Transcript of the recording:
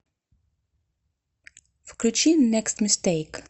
включи некст мистейк